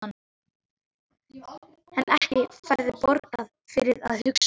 En ekki færðu borgað fyrir að hugsa?